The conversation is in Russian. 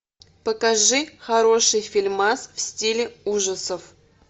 покажи хороший фильмас в стиле ужасов